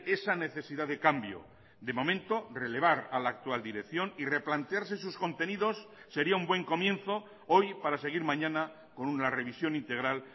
esa necesidad de cambio de momento relevar a la actual dirección y replantearse sus contenidos sería un buen comienzo hoy para seguir mañana con una revisión integral